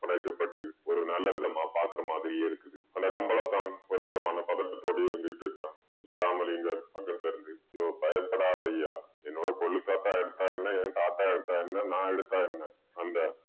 உடைக்கப்பட்டு ஒரு நல்ல விதமா பாக்குற மாதிரியே இருக்குது அந்த கம்பளத்தான் ஒரு விதமான பதட்டத்தோடயே இருந்துட்டிருக்கிறான் முதுரமலிங்கம் பக்கத்துல இருந்து யோவ் பயப்படாதய்யா என்னோட கொள்ளுத்தாத்தா எடுத்தா என்ன என் தாத்தா எடுத்தா என்ன நான் எடுத்தா என்ன அந்த